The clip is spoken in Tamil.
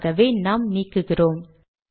ஆகவே நாம் நீக்குகிறோம்